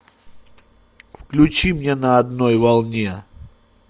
включи мне на одной волне